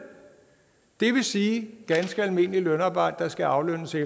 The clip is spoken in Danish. det vil sige at ganske almindeligt lønarbejde skal aflønnes i